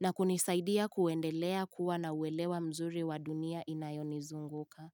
na kunisaidia kuendelea kuwa na uelewa mzuri wa dunia inayoni zunguka.